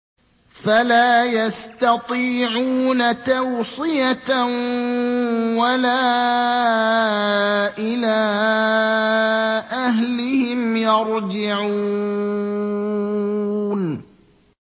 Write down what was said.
فَلَا يَسْتَطِيعُونَ تَوْصِيَةً وَلَا إِلَىٰ أَهْلِهِمْ يَرْجِعُونَ